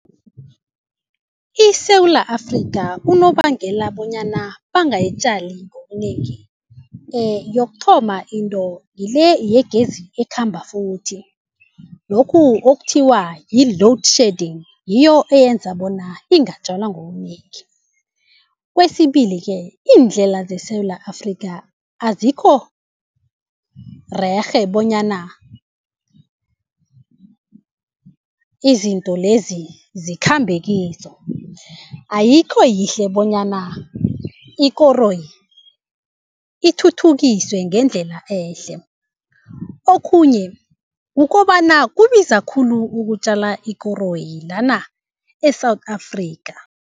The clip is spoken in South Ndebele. ISewula Afrika unobangela bonyana bangayitjali ngobunengi yokuthoma into ngile yegezi ekhamba futhi lokhu okuthiwa yi-load shedding ngiyo eyenza bona ingatjalwa ngobunengi. Kwesibili-ke indlela zeSewula Afrika azikhorerhe bonyana izinto lezi zikhambe kizo, ayikho yihle bonyana ikoroyi ithuthukiswe ngendlela ehle. Okhunye kukobana kubiza khulu ukutjala ikoroyi lana e-South Afrika.